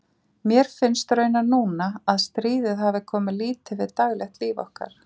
Mér finnst raunar núna, að stríðið hafi komið lítið við daglegt líf okkar.